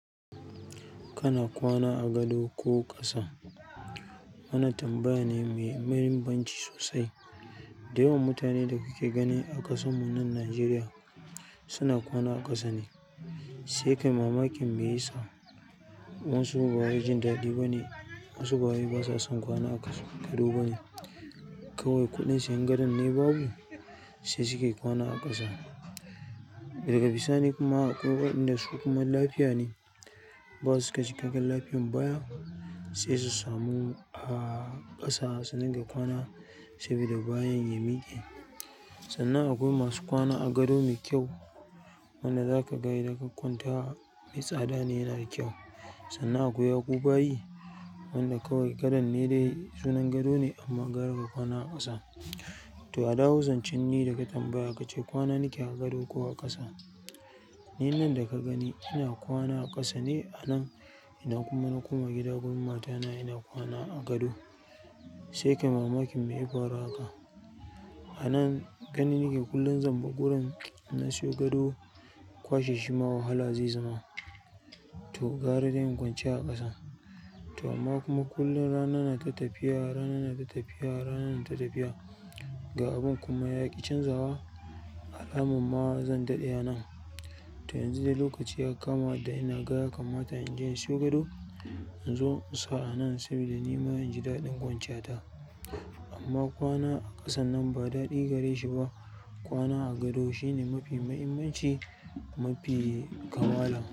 Kana kwana a gado ko ƙasa? Wannan tambaya ne mai muhimmanci sosai. Da yawan mutane daka ke gani a kasa mu nan Nigeria suna kwana a ƙasa ne. Sai kai mamakin me yasa? Wasu ba wai jen daɗi ba ne, wasu ba wai basa son kwana a gado ba ne. Kawai kuɗin siyan gado ne babu sai suke kwana a ƙasa. Daga bisani kuma akwai waɗanda su kuma lafiya ne. Ba su ka ci kai kan lafiyan baya sai su samu a ƙasa suna ga kwana saboda bayan ya miƙe. Sannan akwai masu kwana a gado me kyau. Wanda zaka ga idan ka kwanta me tsada ne yana da kayu. Sannan akwai yaku bayi wanda kawai gadon ne da sunan gado ne amma gara ka kwana a ƙasa. To adawu zancen ne daga tambaya kace kwana nake a gado ko a ƙasa? Ni nan da ka gani ina kwana a ƙasa ne a nan ina kuma na koma gida wurin matana ina kwana a gado. Sai kai mamakin me yafaru haka? A nan gani nake kullum zan bugu ran in na siyo gado kwashe shi ma wahala zai zama. To gara dai in kwance a ƙasa. To amma kuma kullum rana nata tafiya rana nata tafiya rana nata tafiya. Ga abun kuma yaƙi canzawa alamun ma zan daɗe a nan. To yanzu dai lokaci ya kama da ina gaya kan mata in je in siyo gado in zo in sa a nan saboda ni ma inji daɗin kwance ya ta. Amma kwana a ƙasan nan ba daɗi gare shi ba. Kwana a gado shine mafi muhimmanci mafi kamala.